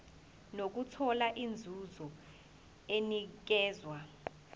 nokuthola inzuzo enikezwa